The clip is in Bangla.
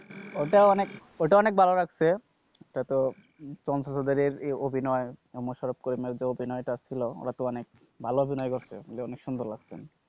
ওইটা অনেক ওইটা অনেক ভালো লাগছে। ওটাতো তন্ত্রসাধকের এই অভিনয়, মোশারফ করিমের যে এই অভিনয়টা ছিল ওটাতো অনেক ভালো অভিনয় করছে বলে অনেক সুন্দর লাগছে।